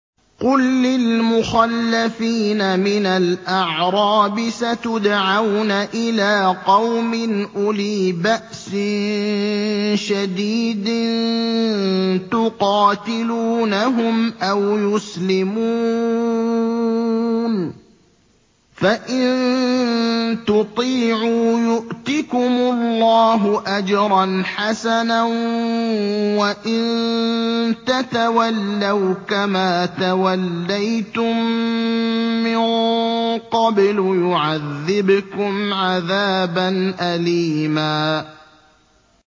قُل لِّلْمُخَلَّفِينَ مِنَ الْأَعْرَابِ سَتُدْعَوْنَ إِلَىٰ قَوْمٍ أُولِي بَأْسٍ شَدِيدٍ تُقَاتِلُونَهُمْ أَوْ يُسْلِمُونَ ۖ فَإِن تُطِيعُوا يُؤْتِكُمُ اللَّهُ أَجْرًا حَسَنًا ۖ وَإِن تَتَوَلَّوْا كَمَا تَوَلَّيْتُم مِّن قَبْلُ يُعَذِّبْكُمْ عَذَابًا أَلِيمًا